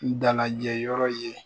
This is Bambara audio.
N dalajɛ yɔrɔ ye.